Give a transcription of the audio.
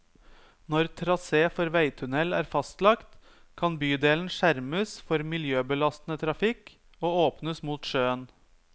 Når trasé for veitunnel er fastlagt, kan bydelen skjermes for miljøbelastende trafikk og åpnes mot sjøen.